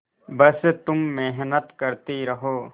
बस तुम मेहनत करती रहो